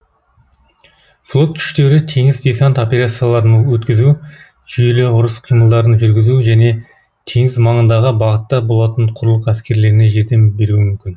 флот күштері теңіз десант операцияларын өткізуі жүйелі ұрыс қимылдарын жүргізуі және теңіз маңындағы бағытта болатын құрлық әскерлеріне жәрдем беруі мүмкін